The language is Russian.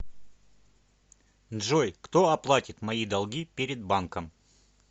джой кто оплатит мои долги перед банком